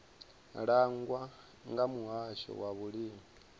langwa nga muhasho wa vhulimi